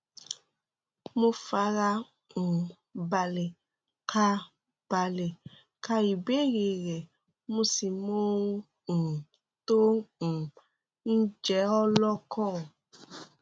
mo fara um balẹ ka balẹ ka ìbéèrè rẹ mo sì mọ ohun um tó um ń jẹ ọ lọkàn